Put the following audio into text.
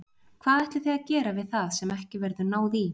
Hvað ætlið þið að gera við það sem ekki verður náð í?